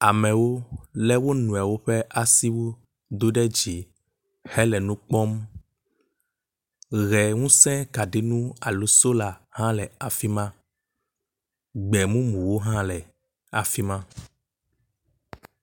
Amewo lé wo nɔewo ƒe asi do ɖe dzi hele nu kpɔm. Ʋeŋusẽkaɖinu alo sola hã le afi ma. Gbemumuwo hã le afi ma